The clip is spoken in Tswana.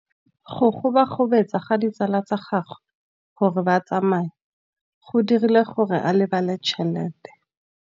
Go gobagobetsa ga ditsala tsa gagwe, gore ba tsamaye go dirile gore a lebale tšhelete.